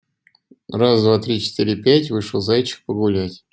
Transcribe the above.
раз два три четыре пять вышел зайчик погулять